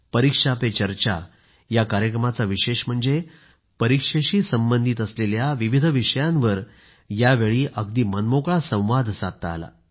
परीक्षा पे चर्चा या कार्यक्रमाचे विशेष म्हणजे परीक्षेशी संबंधित असलेल्या विविध विषयांवर यावेळी अगदी मनमोकळा संवाद साधता आला